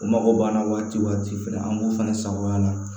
O mago b'an na waati fɛ an b'o fɛnɛ sagoya la